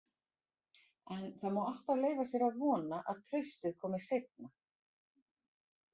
En það má alltaf leyfa sér að vona að traustið komi seinna.